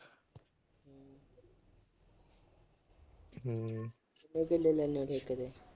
ਉਹ ਕਿੰਨੇ ਲੈਂਦੇ ਓ ਠੇਕੇ ਤੇ।